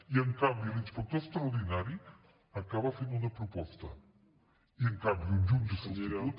i en canvi l’inspector extraordinari acaba fent una proposta i en canvi un jutge substitut